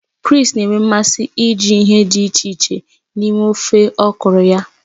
Chris na-enwe mmasị iji ihe dị iche iche na-eme ofe okro ya.